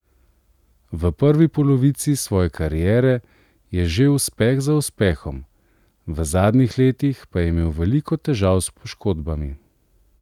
V prvi polovici svoje kariere je žel uspeh za uspehom, v zadnjih letih pa je imel veliko težav s poškodbami.